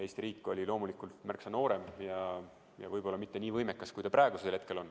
Eesti riik oli loomulikult märksa noorem ja võib-olla mitte nii võimekas, kui ta on praegusel hetkel.